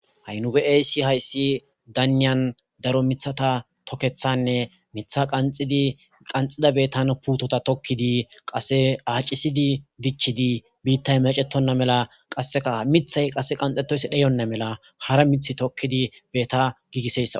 Ha7i nube7aysi hayssi daniyan daro mithata tokkethanne mitha qanxidi qanxida betan puutota tokkidi qase aacisidi dichidi biittay macetonna mela qasseka mithay qasse qanxetoysi dheyonna mela hara mith tokkidi beta giigiseyssa.